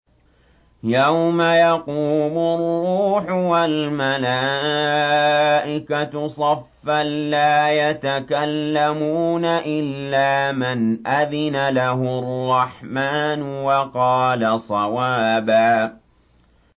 يَوْمَ يَقُومُ الرُّوحُ وَالْمَلَائِكَةُ صَفًّا ۖ لَّا يَتَكَلَّمُونَ إِلَّا مَنْ أَذِنَ لَهُ الرَّحْمَٰنُ وَقَالَ صَوَابًا